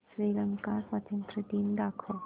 श्रीलंका स्वातंत्र्य दिन दाखव